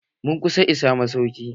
Mun kusa isa masaukin.